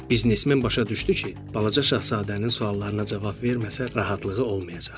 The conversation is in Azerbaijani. Biznesmen başa düşdü ki, balaca şahzadənin suallarına cavab verməsə, rahatlığı olmayacaq.